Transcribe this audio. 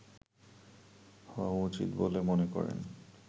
হওয়া উচিত বলে মনে করেন